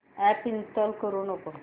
app install करू नको